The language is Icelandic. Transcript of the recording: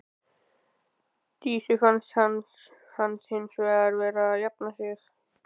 Dísu fannst hann hins vegar vera að jafna sig.